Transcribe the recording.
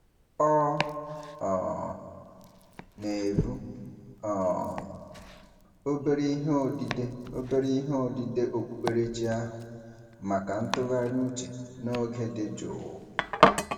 Ọ um na-ebu um obere ihe odide obere ihe odide okpukperechi ahụ maka ntụgharị uche n'oge dị jụụ.